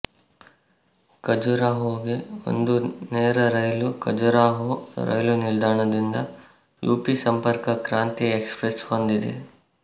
ಖಜುರಾಹೊಗೆ ಒಂದು ನೇರ ರೈಲು ಖಜುರಾಹೊ ರೈಲು ನಿಲ್ದಾಣದಿಂದ ಯುಪಿ ಸಂಪರ್ಕ ಕ್ರಾಂತಿ ಎಕ್ಸ್ಪ್ರೆಸ್ ಹೊಂದಿದೆ